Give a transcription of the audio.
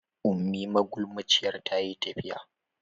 Ummi magulmaciyar ta yi tafiya.